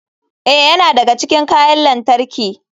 Ee, yana daga cikin kayan lantarki.